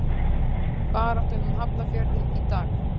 Baráttan um Hafnarfjörðinn í dag